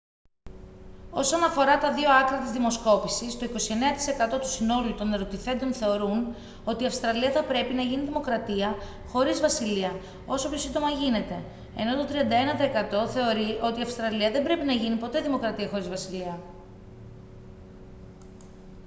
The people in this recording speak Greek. όσον αφορά τα δύο άκρα της δημοσκόπησης το 29% του συνόλου των ερωτηθέντων θεωρούν ότι η αυστραλία θα πρέπει να γίνει δημοκρατία χωρίς βασιλεία όσο πιο σύντομα γίνεται ενώ το 31% θεωρεί ότι η αυστραλία δεν πρέπει να γίνει ποτέ δημοκρατία χωρίς βασιλεία